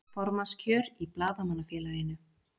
Formannskjör í Blaðamannafélaginu